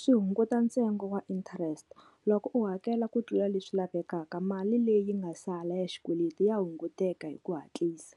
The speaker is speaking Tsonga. Swi hunguta ntsengo wa interest, loko u hakela ku tlula leswi lavekaka mali leyi yi nga sala ya xikweleti ya hunguteka hi ku hatlisa